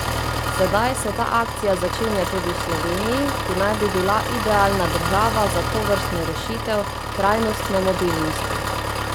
Sedaj se ta akcija začenja tudi v Sloveniji, ki naj bi bila idealna država za tovrstno rešitev trajnostne mobilnosti.